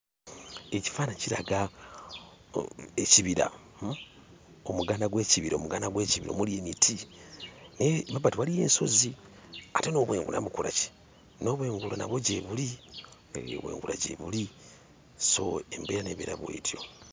Ekifaananyi kiraga ekibira, uhm, omuganda gw'ekibira, omuganda gw'ekibira omuli emiti, emabbali waliyo ensozi ate n'obwengula bukola ki? N'obw'engula nabwo gyebuli, hee, obw'engula gyebuli. So, embeera n'ebeera bw'etyo.